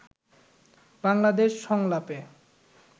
বাংলাদেশ সংলাপে